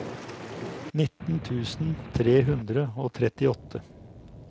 nitten tusen tre hundre og trettiåtte